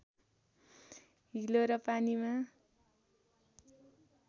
हिलो र पानीमा